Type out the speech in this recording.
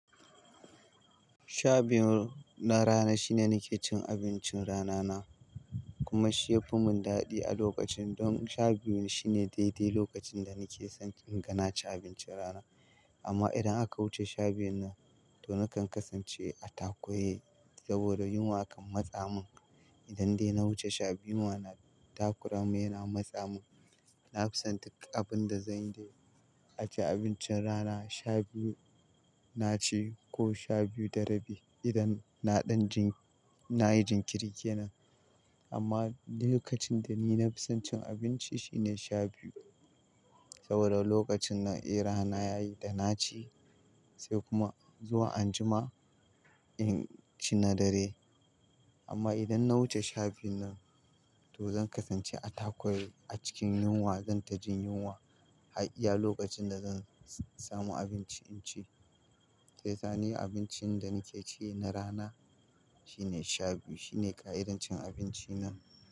Sha biyun na rana shine nake cin abincin rana na, kuma shi yafi mun dadi a lokacin don sha biyun shine daidai lokacin da nake son in ga naci abincin rana. Amma idan aka wuce sha biyun na to nakan kasance a takure saboda yunwa kan matsa mun. In dai na wuce sha biyu yunwa na takura mun yana matsa mun. Nafison duk abinda zanyi dai a ci abincin rana sha biyu naci ko sha biyu da rabi idan na ɗan jin, nayi jinkiriri kenan. Amma lokacin da ni nafison cin abinci shine sha biyu saboda lokacin na era na yayi da naci sai kuma zuwa anjima in ci na dare. Amma idan na wuce sha biyun nan to zan kasance a takure, a cikin yunwa zan tajin yunwa har iya lokacin da zan samu abinci in ci. Sai sani abincin da nake ci na rana shine sha biyu shine ƙa'idar cin abinci na.